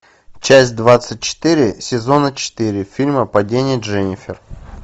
часть двадцать четыре сезона четыре фильма падение дженнифер